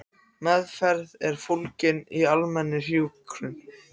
Meðferð er fólgin í almennri hjúkrun.